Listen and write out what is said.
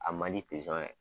A man di ye